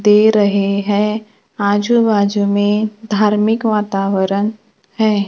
दे रहे हैं आजू बाजू में धार्मिक वातावरण है।